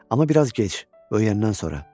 Amma biraz gec, böyüyəndən sonra.